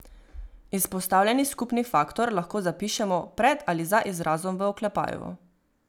Izpostavljeni skupni faktor lahko zapišemo pred ali za izrazom v oklepaju.